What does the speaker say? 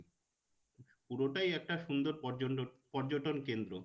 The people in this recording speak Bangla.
পুরোটাই একটা সুন্দর পর্যটন কেন্দ্র।